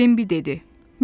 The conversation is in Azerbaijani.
Bembi dedi: